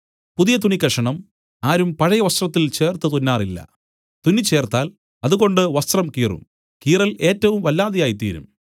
പുതിയ തുണി കഷണം ആരും പഴയ വസ്ത്രത്തിൽ ചേർത്ത് തുന്നാറില്ല തുന്നിച്ചേർത്താൽ അതുകൊണ്ട് വസ്ത്രം കീറും കീറൽ ഏറ്റവും വല്ലാതെയായി തീരും